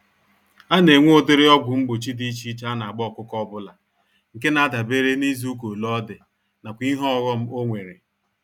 Anenwe ụdịrị ọgwụ mgbochi dị iche iche anagba ọkụkọ ọbula, nke nadabere n'izuka ole ọdị, nakwa ìhè ọghom onwere.